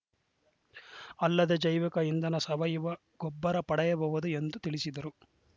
ಅಲ್ಲದೆ ಜೈವಿಕ ಇಂಧನ ಸಾವಯವ ಗೊಬ್ಬರ ಪಡೆಯಬಹುದು ಎಂದು ತಿಳಿಸಿದರು